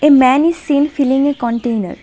A man is seen filling a container.